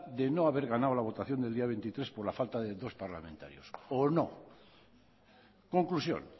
de no haber ganado la votación del día veintitrés por la falta de dos parlamentarios o no conclusión